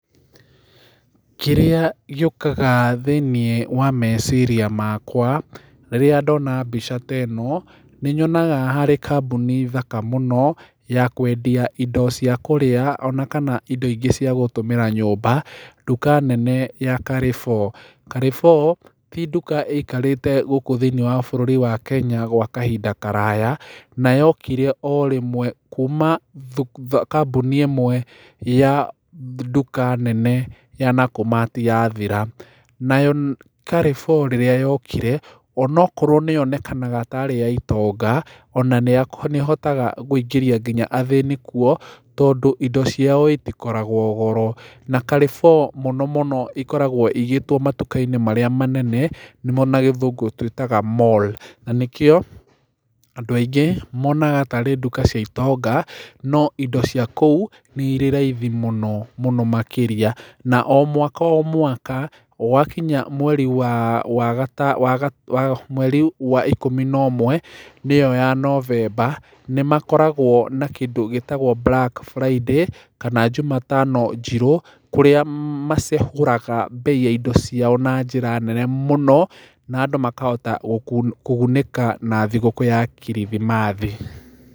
Kĩrĩa gĩũkaga thĩiniĩ wa meciria makwa rĩrĩa ndona mbica ta ĩno, nĩnyonaga harĩ kambũni thaka mũno ya kwendia indo cia kũrĩa ona kana indo ingĩ cia gũtũmĩra nyũmba, nduka nene ya Carrefour. Carrefour, ti nduka ĩikarĩte gũkũ thĩiniĩ wa bũrũri wa Kenya gwa kahinda karaya, na yokire o rĩmwe kuma kambũni ĩmwe ya nduka nene ya Nakumatt yathira. Nayo Carrefour rĩrĩa yokire, onokorwo nĩyonekanaga tarĩ ya itonga, ona nĩĩhotaga kũingĩria kinya athĩni kuo tondũ indo ciao itikoragwo goro. Na Carrefour mũno mũno ĩkoragwo ĩigĩtwommatuka-inĩ marĩa manene, nĩmo na Gĩthũngũ twĩtaga mall. Na nĩkĩo andũ aingĩ monaga tarĩ nduka cia itonga, no indo cia kũu nĩ irĩ raithi mũno, mũno makĩria na o mwaka o mwaka gwakinya mweri wa wa gata mweri wa ikũmi na ũmwe, nĩyo ya November, nĩmakoragwo na kĩndũ gĩtagwo Black Friday kana Juma tano njirũ, kũrĩa macehũraga mbei ya indo ciao na njĩra nene mũno, na andũ makahota kugunĩka na thigũkũ ya kirithimathi.